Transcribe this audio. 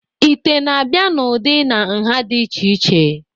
ite na-abịa n'ụdị na nha dị iche iche